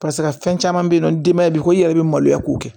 Paseke a fɛn caman bɛ yen nɔ denbaya b'i ko i yɛrɛ bɛ maloya k'o kɛ